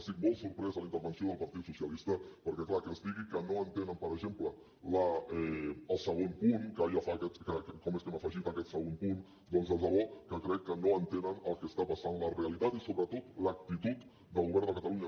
estic molt sorprès de la intervenció del partit socialista perquè clar que es digui que no entenen per exemple el segon punt que com és que hem afegit aquest segon punt doncs de debò que crec que no entenen el que està passant a la realitat i sobretot l’actitud del govern de catalunya